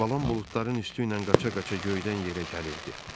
Balam buludların üstüylə qaça-qaça göydən yerə gəlirdi.